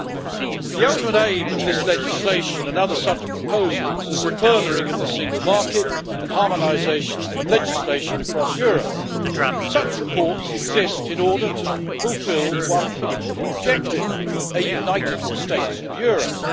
Mr President, the ultimate aim of this legislation and other such proposals, is the furthering of the single market and harmonisation of legislation across Europe. Such reports exist in order to fulfil one political objective, a United States of Europe.